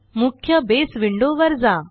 मुख्यBase window वर जा